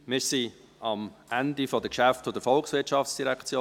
Wir sind am Ende der Geschäfte der VOL angelangt.